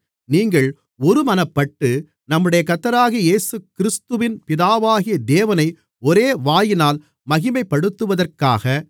நீங்கள் ஒருமனப்பட்டு நம்முடைய கர்த்தராகிய இயேசுகிறிஸ்துவின் பிதாவாகிய தேவனை ஒரே வாயினால் மகிமைப்படுத்துவதற்காக